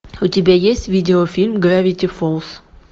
у тебя есть видеофильм гравити фолз